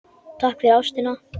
Takk fyrir ástina.